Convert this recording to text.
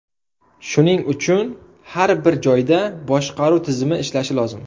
Shuning uchun har bir joyda boshqaruv tizimi ishlashi lozim.